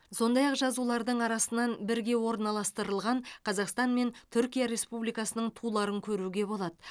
сондай ақ жазулардың арасынан бірге орналастырылған қазақстан мен түркия республикасының туларын көруге болады